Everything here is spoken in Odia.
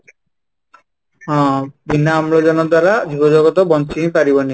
ହଁ, ବିନା ଅମ୍ଳଜାନ ଦ୍ୱାରା ଜୀବ ଜଗତ ବଞ୍ଚି ପାରିବନି